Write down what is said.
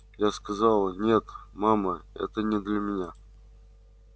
я сказала нет мама это не для меня